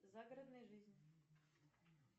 загородная жизнь